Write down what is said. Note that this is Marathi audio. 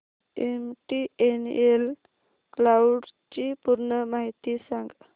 एमटीएनएल क्लाउड ची पूर्ण माहिती सांग